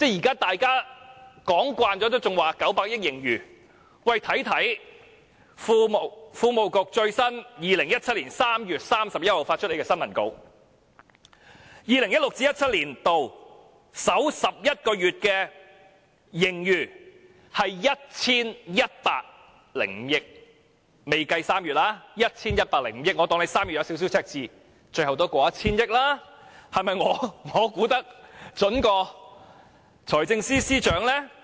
當大家都說今年有900多億元盈餘時，財經事務及庫務局卻在2017年3月31日發出的新聞公報中指出 ，2016-2017 年度首11個月的盈餘為 1,105 億元，這仍未計算3月的收支情況，但即使假設3月出現輕微赤字，最後的盈餘也會超過 1,000 億元。